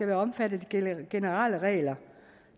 være omfattet af de generelle regler